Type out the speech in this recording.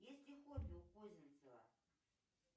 есть ли хобби у козинцева